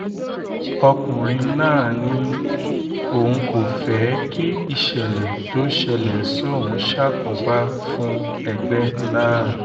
ọkùnrin náà ní òun kò fẹ́ kí ìṣẹ̀lẹ̀ tó ṣẹlẹ̀ sóun ṣàkóbá fún ẹgbẹ́ náà